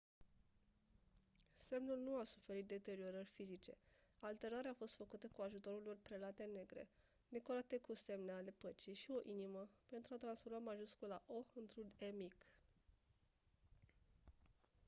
semnul nu a suferit deteriorări fizice; alterarea a fost făcută cu ajutorul unor prelate negre decorate cu semne ale păcii și o inimă pentru a transforma majuscula «o» într-un «e» mic.